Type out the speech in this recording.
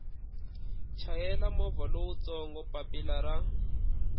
chayela movha lowutsongo papilla ra